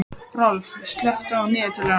Rolf, slökktu á niðurteljaranum.